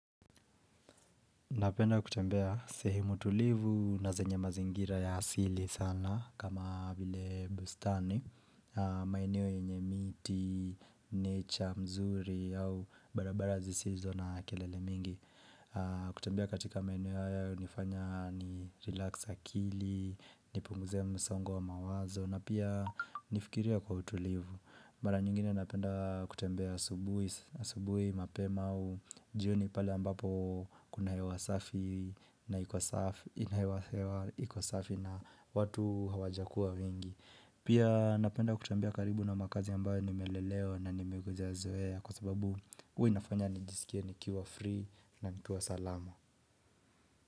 Napenda kutembea sehemu tulivu na zenye mazingira ya asili sana kama vile bustani, maeneo yenye miti, nature, mzuri au barabara zisizo na kelele mingi. Kutembea katika maeneo haya hunifanya ni relax akili, nipunguze msongo wa mawazo na pia nifikiria kwa utulivu. Mara nyingine napenda kutembea asubuhi, asubuhi, mapema u, jioni pale ambapo kuna hewa safi na iko safi na watu hawajakua wengi Pia napenda kutembea karibu na makazi ambayo nimelelewa na nimegezea zoea kwa sababu hua inafanya nijisikie nikiwa free na nikiwa salama.